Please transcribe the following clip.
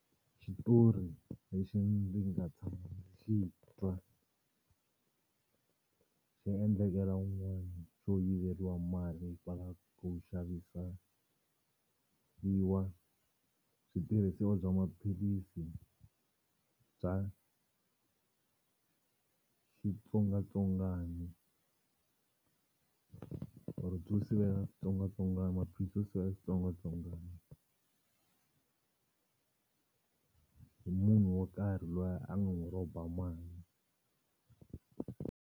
Xitori lexi ndzi nga tshami xi twa xi endlekela un'wana xo yiveriwa mali va lava ku xavisa switirhisiwa bya maphilisi bya xitsongwatsongwani or byo sivela xitsongwatsongwana maphilisi ya xitsongwatsongwana hi munhu wo karhi loyi a n'wi rhomba mali.